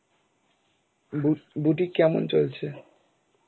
বু~ বুটিক কেমন চলছে?